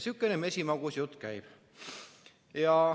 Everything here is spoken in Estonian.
Sihukene mesimagus jutt käib.